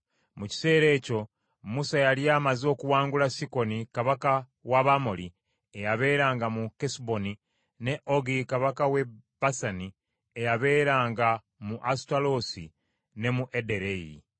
Mu kiseera ekyo Musa yali amaze okuwangula Sikoni kabaka w’Abamoli eyabeeranga mu Kesuboni, ne Ogi kabaka w’e Basani eyabeeranga mu Asutaloosi ne mu Ederei.